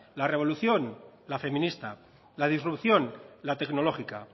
la revolución la feminista la disrupción la tecnológica